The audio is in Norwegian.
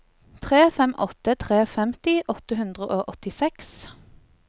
tre fem åtte tre femti åtte hundre og åttiseks